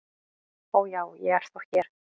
"""Ó, já, ég er þá hér"""